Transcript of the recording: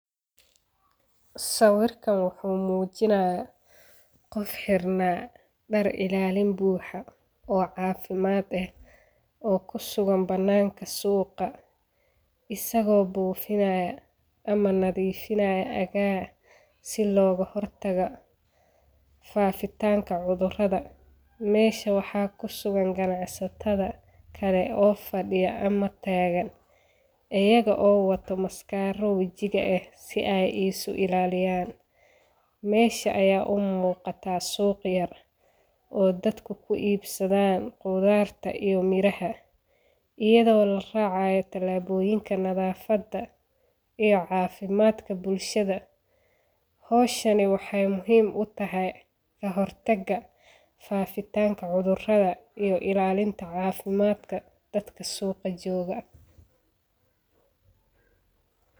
Sawirkan wuxu mujinaya qof xirna dar ilalin buxa oo cafimad eh oo kusugan bananka suqa isago bufinaya ama nadifinaya agaa si logahortago fafitanka cudurada mesha waxa kusugan ganacsatada kale oo fadiya ama tagan iyago oo wato maskaro wajiga eh si ey isuilaliyan mesha aya umuqata suq yar oo dadka ey kuibsadan qudarta iyo miraha iyado laracayo tilaboyinka nadafada iyo cafimadka bulshada Howshani wexey muhim utahay kahortaga fafitanka cudurada iyo ilalinta cafimadka dadka suqa jooga .